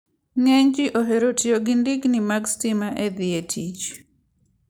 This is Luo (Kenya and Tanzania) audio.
Ng'eny ji ohero tiyo gi ndigni mag stima e dhi e tich.